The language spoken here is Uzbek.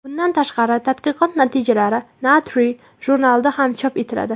Bundan tashqari, tadqiqot natijalari Nature jurnalida ham chop etiladi.